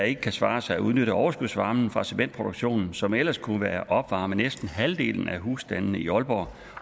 ikke kan svare sig at udnytte overskudsvarmen fra cementproduktionen som ellers ville kunne opvarme næsten halvdelen af husstandene i aalborg